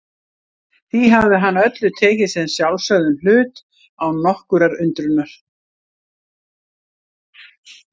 Því hafði hann öllu tekið sem sjálfsögðum hlut, án nokkurrar undrunar.